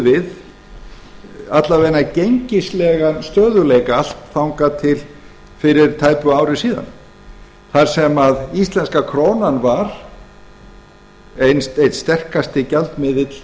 við alla vega gengislegan stöðugleika allt þangað til fyrir tæpu ári síðan þar sem íslenska krónan var einn sterkasti gjaldmiðill